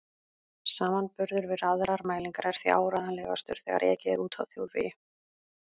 Samanburður við aðrar mælingar er því áreiðanlegastur þegar ekið er úti á þjóðvegi.